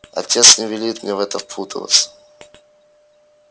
отец не велит мне в это впутываться